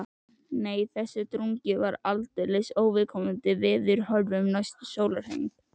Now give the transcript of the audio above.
Nei, þessi drungi var allsendis óviðkomandi veðurhorfum næsta sólarhring.